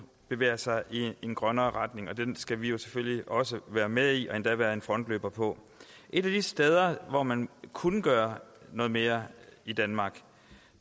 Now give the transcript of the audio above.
bevæger sig i en grønnere retning og den skal vi jo selvfølgelig også være med i og endda være en frontløber på et af de steder hvor man kunne gøre noget mere i danmark